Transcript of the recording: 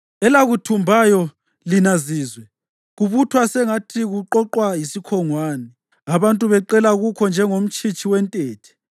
Elakuthumbayo, lina zizwe, kubuthwa sengangathi kuqoqwa yisikhongwane, abantu beqela kukho njengomtshitshi wentethe.